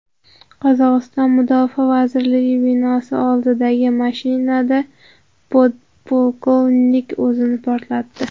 Qozog‘iston Mudofaa vazirligi binosi oldidagi mashinada podpolkovnik o‘zini portlatdi.